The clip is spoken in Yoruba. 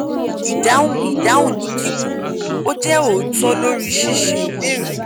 idahun idahun ni kikun: o je otọ lori ṣiṣe ibeere yii